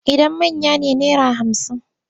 Idan manya ne naira hamsin.